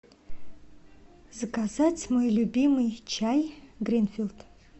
заказать мой любимый чай гринфилд